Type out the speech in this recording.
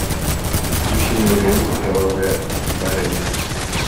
включи мне ленту кровавая барыня